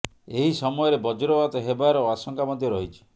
ଏହି ସମୟରେ ବଜ୍ରପାତ ହେବା ର ଆଶଙ୍କା ମଧ୍ୟ ରହିଛି